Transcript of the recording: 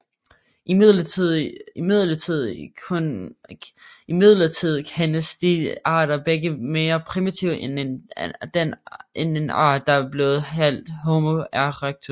Imidlertid kendes disse arter begge mere primitive end en art der er blevet kaldt Homo erectus